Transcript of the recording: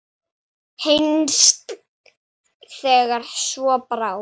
Heinz segir svo frá: